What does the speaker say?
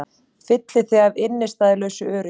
Fylli þig af innistæðulausu öryggi.